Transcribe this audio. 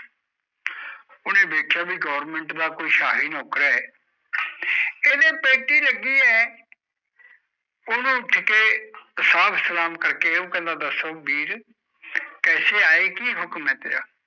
ਉਨੇ ਦੇਖਿਆ ਬੀ government ਦਾ ਕੋਈ ਸਾਹੀ ਨੌਕਰ ਹੈ ਇਹਦੇ ਪੇਟੀ ਲਗੀ ਆ ਉਨੇ ਉੱਠ ਕੇ ਸਾਬ ਸਲੈਮ ਕਰਕੇ ਓ ਕਹਿੰਦਾ ਆਏ ਕਿ ਹੁਕਮ ਹੈ ਤੇਰਾ